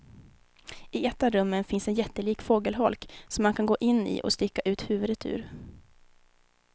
I ett av rummen finns en jättelik fågelholk som man kan gå in i och sticka ut huvudet ur.